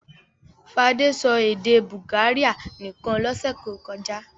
Fadé sọ èdè Bulgaria nìkan lọ́sẹ̀ tó kọjá?